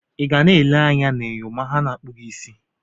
Ị ga na-ele anya na enyo ma a na-akpụ gị isi?